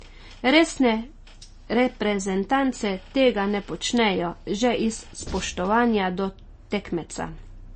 Resne reprezentance tega ne počnejo že iz spoštovanja do tekmeca.